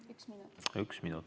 Üks minut?